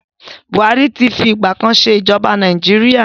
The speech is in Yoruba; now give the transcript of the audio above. Buhari ti fi ìgbà kan ṣe ij̀ọba Nàìjíríà.